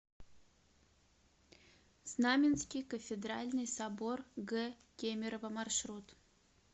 знаменский кафедральный собор г кемерово маршрут